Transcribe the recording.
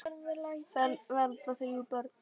Fermd verða þrjú börn.